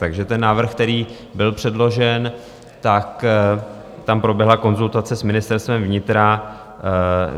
Takže ten návrh, který byl předložen, tam proběhla konzultace s Ministerstvem vnitra.